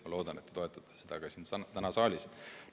Ma loodan, et te toetate seda ka täna siin saalis.